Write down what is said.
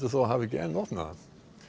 þó að hafa ekki enn opnað það